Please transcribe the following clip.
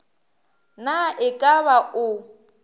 na e ka ba o